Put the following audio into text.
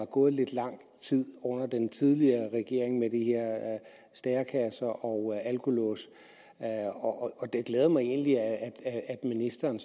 gået lidt lang tid under den tidligere regering med de her stærekasser og alkolåse det glæder mig egentlig at ministeren